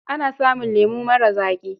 Ana samun lemo marar zaƙi.